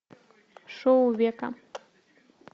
шоу века